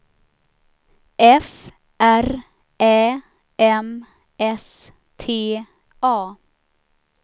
F R Ä M S T A